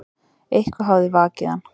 Eitthvað hafði vakið hann.